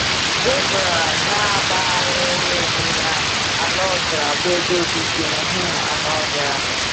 Zebra na-agbagharịrị onwe ya, ala ọzara bụ ebe obibi um anụ ọhịa.